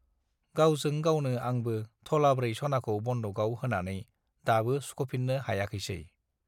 गावजों गावनो आंबो थलाब्रै सनाखौ बन्दक आव होनानै दाबो सुखफिन्नो हायाखैसै